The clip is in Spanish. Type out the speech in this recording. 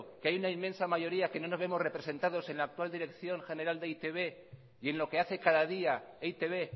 que hay una inmensa mayoría que no nos vemos representados en la actual dirección general de e i te be y en lo que hace cada día e i te be